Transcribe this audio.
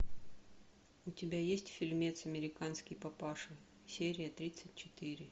у тебя есть фильмец американский папаша серия тридцать четыре